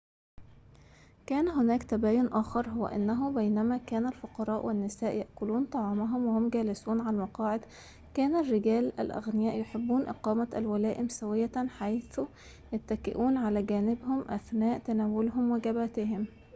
كان هناك تباين آخر هو أنه بينما كان الفقراء والنساء يأكلون طعامهم وهم جالسون على المقاعد كان الرجال الأغنياء يحبون إقامة الولائم سوية حيث يتكئون على جانبهم أثناء تناولهم واجباتهم